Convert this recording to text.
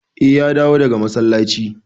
Eh, ya dawo daga masallaci.